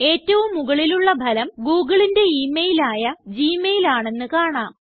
ഏറ്റവും മുകളിലുള്ള ഫലം googleന്റെ ഇമെയിൽ ആയ ഗ്മെയിൽ ആണെന്ന് കാണാം